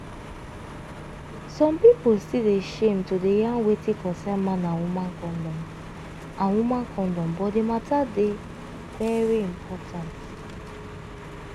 some pipo still dey shame to dey yarn wetin concern man and woman condom and woman condom but di matter dey very important.